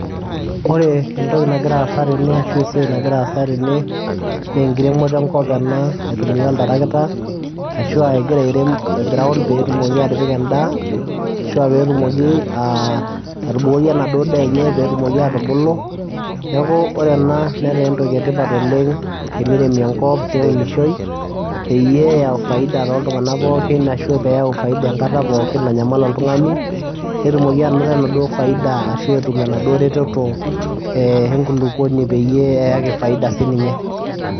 Ore entoki nagira aasa ashu esiai nagira aasa tene naa enkiremoto enkop ena aitumia oltarakita ashua egira airem ground petumoki atipika endaa ashuaa petumoki atubukoki enaduo daa enye petumoki atubulu , niaku ore ena netaa entoki etipat oleng , teniremi enkop neunishoi peyie eyau faida toltunganak pookin ashu peyau faida enkata pookin nanyamal oltungani netumoki anoto enaduo faida ashu etum enaduo reteto enkulupuoni peyie eyaki faida sininye.